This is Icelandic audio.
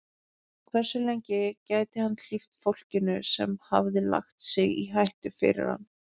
Hversu lengi gæti hann hlíft fólkinu sem hafði lagt sig í hættu fyrir hann?